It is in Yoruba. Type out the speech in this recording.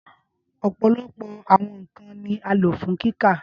Ọpọlọpọ awọn nkan ni a lo fun kika.